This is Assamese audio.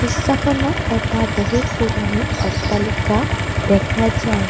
দৃশ্যখনত এটা বহু পুৰণি অট্টালিকা দেখা যায়।